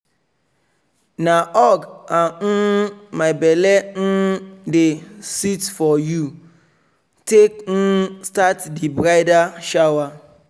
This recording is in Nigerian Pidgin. na hug and um "my belle um dey seet for you" take um start di bridal shower.